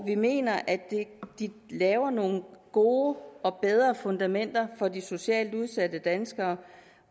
vi mener at de laver nogle gode og bedre fundamenter for de socialt udsatte danskere